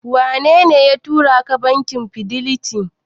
Wanene ya turaka bankin Fidelity?